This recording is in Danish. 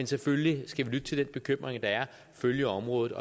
selvfølgelig lytte til den bekymring der er og følge området